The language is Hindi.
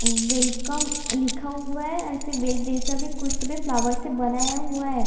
वेलकम लिखा हुआ है ऐसे बेल जैसा भी कुछ तो फ्लावर से बनाया हुआ है।